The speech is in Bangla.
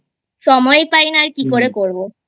সময় পাই না আর কি করে করবো ।